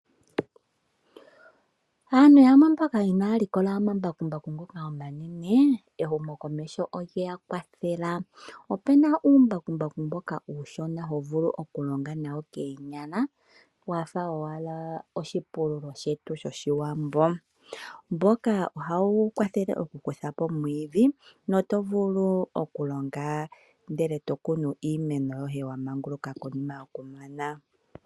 Aantu yamwe mboka inaya likola omambakumbaku ngoka omanene ehumokomeho olye ya kwathela. Opu na uumbakumbaku mboka uushona ho vulu okulonga nawo koonyala wa fa owala oshipululo shetu shOshiwambo. Mboka ohawu kwathele okukutha po omwiidhi noto vulu okulonga ndele to kunu iimeno yoye konima yokumana.